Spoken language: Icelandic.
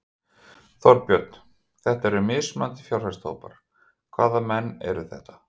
Þorbjörn: Þetta eru þrír mismunandi fjárfestahópar, hvaða menn eru þetta?